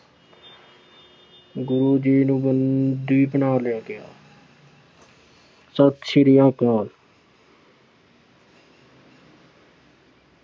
ਗੁਰੂ ਜੀ ਨੂੰ ਬੰਦੀ ਬਣਾ ਲਿਆ ਗਿਆ। ਸਤਿ ਸ੍ਰੀ ਅਕਾਲ।